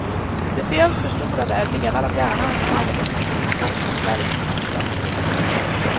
Speciellt förstorade är delar av hjärnan som handskas med information om färg och mönster.